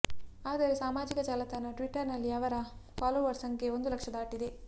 ಆದರೆ ಸಾಮಾಜಿಕ ಜಾಲತಾಣ ಟ್ವಿಟ್ಟರ್ ನಲ್ಲಿ ಅವರ ಫಾಲೋವರ್ಸ್ ಸಂಖ್ಯೆ ಒಂದು ಲಕ್ಷ ದಾಟಿದೆ